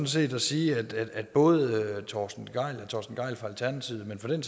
set at sige at at både herre torsten gejl fra alternativet men for den